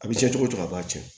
A bɛ kɛ cogo cogo a b'a tiɲɛ